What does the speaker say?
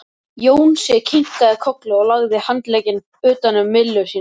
Jónsi kinkaði kolli og lagði handlegginn utan um Millu sína.